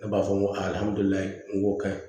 Ne b'a fɔ n ko n ko ka ɲi